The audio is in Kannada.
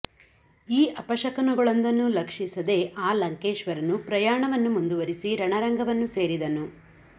ಈ ಅಪಶಕುನಗಳೊಂದನ್ನೂ ಲಕ್ಷಿಸದೆ ಆ ಲಂಕೇಶ್ವರನು ಪ್ರಯಾಣವನ್ನು ಮುಂದುವರಿಸಿ ರಣರಂಗವನ್ನು ಸೇರಿದನು